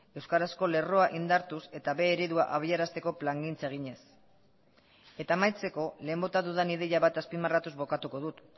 euskarazko lerroa indartuz eta b eredua abiarazteko plangintza eginez eta amaitzeko lehen bota dudan ideia bat azpimarratuz bukatuko dut